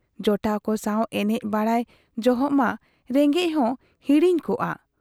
ᱡᱚᱴᱟᱣ ᱠᱚ ᱥᱟᱶ ᱮᱱᱮᱡ ᱵᱟᱰᱟᱭ ᱡᱚᱦᱚᱜ ᱢᱟ ᱨᱮᱸᱜᱮᱡ ᱦᱚ ᱸ ᱦᱤᱲᱤᱧ ᱠᱚᱜᱼᱟ ᱾